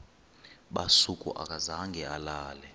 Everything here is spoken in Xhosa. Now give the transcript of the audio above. busuku akazange alale